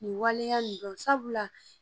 Nin waleya nin dɔn sabula